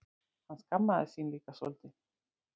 Hann skammaðist sín líka svolítið.